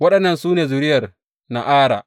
Waɗannan su ne zuriyar Na’ara.